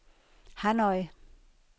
Hanoi